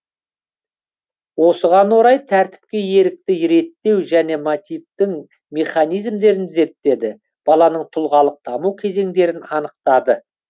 осыған орай тәртіпті ерікті реттеу және мотивтің механизмдерін зерттеді баланың тұлғалық даму кезеңдерін анықтады